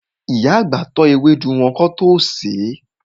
Ìyá àgbà tọ́ ewédú wọn kán tó sèé.